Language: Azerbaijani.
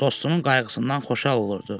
Dostunun qayğısından xoşhal olurdu.